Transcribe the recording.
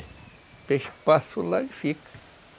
O peixe passa lá e fica.